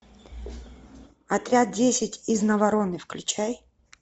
отряд десять из навароне включай